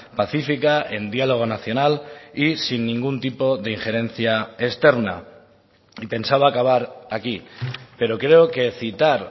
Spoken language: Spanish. pacífica en diálogo nacional y sin ningún tipo de injerencia externa y pensaba acabar aquí pero creo que citar